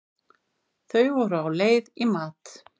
Þau voru á leið í mat.